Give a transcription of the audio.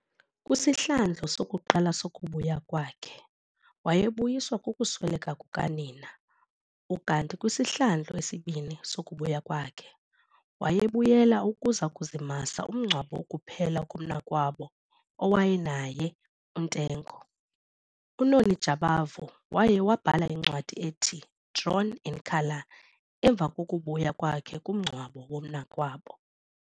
Kwisihlandlo sokuqala sokubuya kwakhe wayebuyiswa kukusweleka kukanina ukanti kwisihlandlo sesibini sokubuya kwakhe wayebuyela ukuza kuzimasa umngcwabo wokuphela komnakwabo awayenaye uNtengo. UNony Jabavu waye wabhala incwadi ethi Drawn in Colour emva kokubuya kwakhe kumngcwabo womnakwabo.